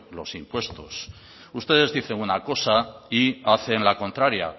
los impuestos ustedes dicen una cosa y hacen la contraria